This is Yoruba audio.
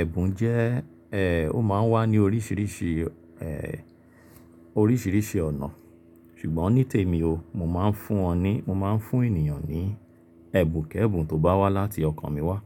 Ẹ̀bùn jẹ́ ẹ́, ó máa ń wá ní oríṣìíríṣìí ẹ́ oríṣìíríṣìí ọ̀nà. Ṣùgbọ́n nítèmi o, mo máa ń fún wọn ní, mo máa ń fún èniyàn ní ẹ̀bùn kí ẹ̀bùn tó bá wá láti ọkàn mi wá.